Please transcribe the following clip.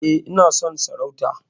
E, ina son sarauta.